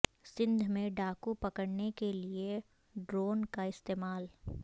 سندھ میں ڈاکو پکڑنے کے لیے ڈرون کا استعمال